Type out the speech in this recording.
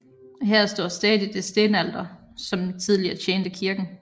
Her står stadig det stenalter som tidligere tjente kirken